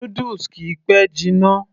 noodles kìí pẹ́ jiná